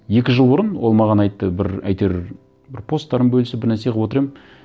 екі жыл бұрын ол маған айтты бір әйтеуір бір посттарын бөлісіп бір нәрсе қылып отыр едім